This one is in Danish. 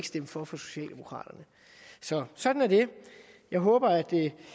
stemme for for socialdemokraterne så sådan er det jeg håber at